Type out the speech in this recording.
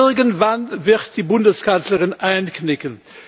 Irgendwann wird die Bundeskanzlerin einknicken.